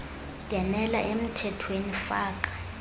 bhenela emthethweni faka